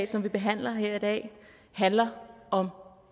som vi behandler her i dag handler om